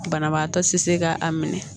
Banabaatɔ te se ka a minɛ